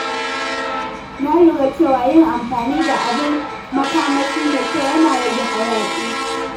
Na lura cewa yin amfani da abin makamashi mai kyau yana rage hayaƙi.